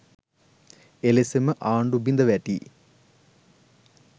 එලෙසම ආණ්ඩු බිඳවැටී